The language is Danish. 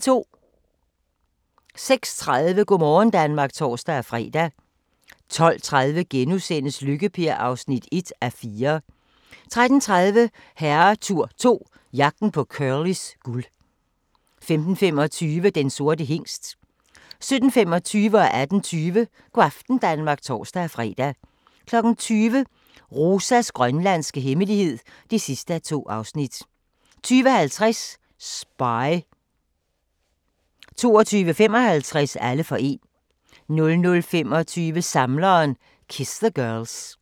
06:30: Go' morgen Danmark (tor-fre) 12:30: Lykke-Per (1:4)* 13:30: Herretur 2 - Jagten på Curlys guld 15:25: Den sorte hingst 17:25: Go' aften Danmark (tor-fre) 18:20: Go' aften Danmark (tor-fre) 20:00: Rosas grønlandske hemmelighed (2:2) 20:50: Spy 22:55: Alle for én 00:25: Samleren - Kiss the Girls